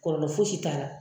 Kɔlɔlɔ fosi t'a la.